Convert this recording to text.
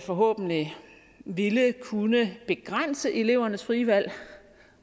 forhåbentlig ville kunne begrænse elevernes frie valg